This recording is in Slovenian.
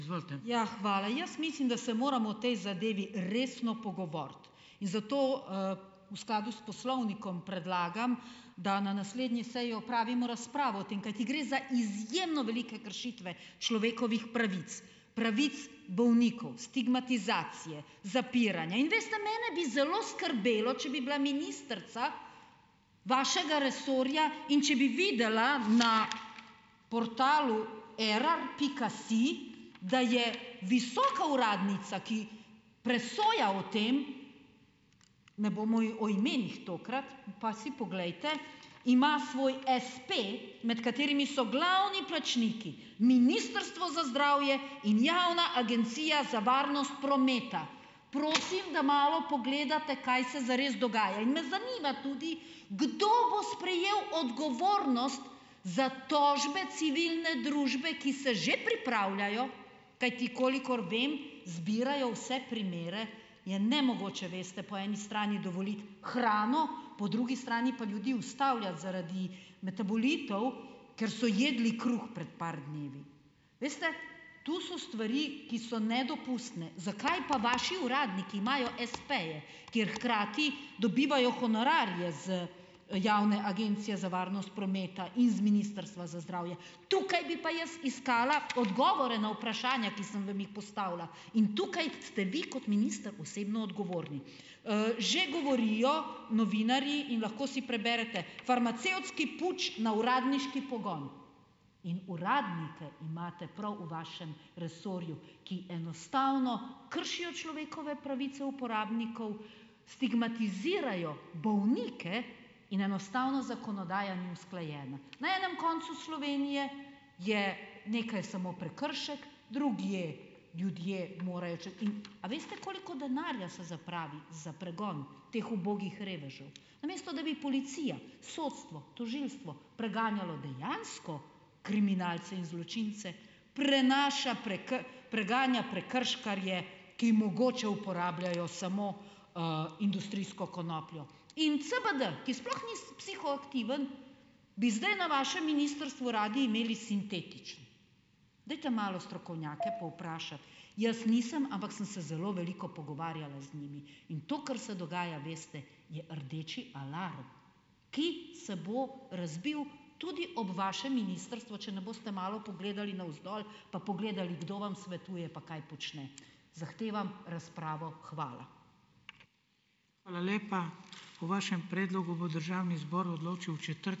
Ja, hvala. Jaz mislim, da se moramo o tej zadevi resno pogovoriti in zato, v skladu s poslovnikom predlagam, da na naslednji seji opravimo razpravo o tem. Kajti gre za izjemno velike kršitve človekovih pravic. Pravic bolnikov, stigmatizacije, zapiranje in veste, mene bi zelo skrbelo, če bi bila ministrica vašega resorja, in če bi videla na portalu Erar pika si, da je visoka uradnica, ki presoja o tem, ne bomo o imenih tokrat, pa si poglejte. Ima svoj espe, med katerimi so glavni plačniki Ministrstvo za zdravje in Javna agencija za varnost prometa. Prosim, da malo pogledate, kaj se zares dogaja. In me zanima tudi, kdo bo sprejel odgovornost za tožbe civilne družbe, ki se že pripravljajo, kajti kolikor vem, zbirajo vse primere - je nemogoče, veste, po eni strani dovoliti hrano, po drugi strani pa ljudi ustavljati zaradi metabolitov, ker so jedli kruh pred par dni. Veste, to so stvari, ki so nedopustne. Zakaj pa vaši uradniki imajo espeje, kjer hkrati dobivajo honorarje z Javne agencije za varnost prometa in z Ministrstva za zdravje? Tukaj bi pa jaz iskala odgovore na vprašanja, ki sem vam jih postavlja, in tukaj ste vi kot minister osebno odgovorni. Že govorijo novinarji in lahko si preberete: "Farmacevtski puč na uradniški pogon." In uradnike imate prav v vašem resorju, ki enostavno kršijo človekove pravice uporabnikov, stigmatizirajo bolnike in enostavno zakonodaja ni usklajena. Na enem koncu Slovenije je nekaj samo prekršek, drugje ljudje morajo in a veste, koliko denarja se zapravi za pregon teh ubogih revežev. Namesto da bi policija, sodstvo, tožilstvo preganjalo dejansko kriminalce in zločince, prenaša preganja prekrškarje, ki mogoče uporabljajo samo, industrijsko konopljo. In CBD, ki sploh ni psihoaktiven, bi zdaj na vašem ministrstvu radi imeli sintetične. Dajte malo strokovnjake povprašati. Jaz nisem, ampak sem se zelo veliko pogovarjala z njimi in to, kar se dogaja, veste, je rdeči alarm, ki se bo razbil tudi ob vašem ministrstvu, če ne boste malo pogledali navzdol, pa pogledali, kdo vam svetuje pa kaj počne. Zahtevam razpravo, hvala.